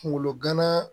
Kungolo gana